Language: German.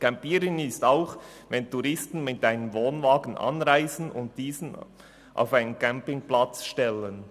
Campieren ist auch, wenn Touristen mit einem Wohnwagen anreisen und diesen auf einen Campingplatz stellen.